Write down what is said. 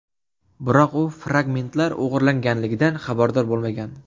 Biroq u fragmentlar o‘g‘irlanganligidan xabardor bo‘lmagan.